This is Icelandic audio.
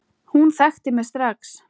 Hún þekkti mig strax.